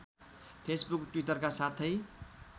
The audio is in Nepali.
फेसबुक टि्वटरका साथै